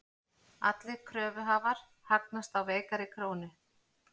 Almennir kröfuhafar hagnast á veikari krónu